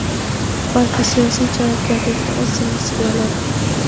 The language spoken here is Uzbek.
balki siyosiy javobgarlikni o‘z zimmasiga oladi.